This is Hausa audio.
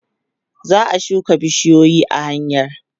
za'a shuka bishiyoyi a hanya